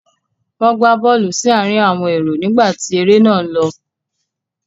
Wọ́n gbá bọ́ọ́lù sí àárín àwọn èrò nígbà tí eré náà ń lọ.